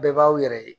Bɛɛ b'aw yɛrɛ ye